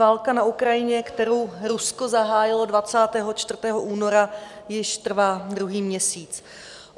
Válka na Ukrajině, kterou Rusko zahájilo 24. února, již trvá druhý měsíc.